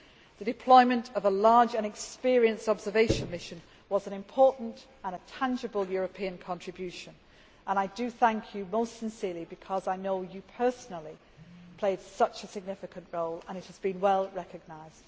The deployment of a large and experienced observation mission was an important and tangible European contribution, and I thank you most sincerely because I know you personally played such a significant role and it has been well recognised.